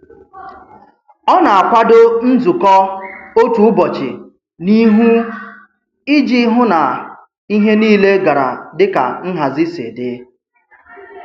Ọ na-akwado nzukọ otu ụbọchị n'ihu iji hụ na ihe niile gara dịka nhazi si dị.